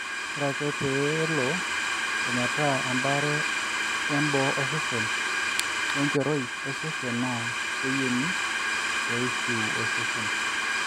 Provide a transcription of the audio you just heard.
ore ake peelo ometaa embaare e boo osesen oo enchorai osesen naa keyieni pee ishiu osesen